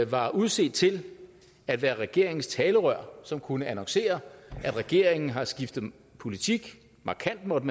var udset til at være regeringens talerør som kunne annoncere at regeringen har skiftet politik markant måtte